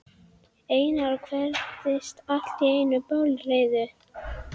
Einar og virtist allt í einu bálreiður.